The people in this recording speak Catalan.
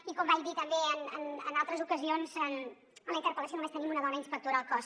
i com vaig dir també en altres ocasions en la interpel·lació només tenim una dona inspectora al cos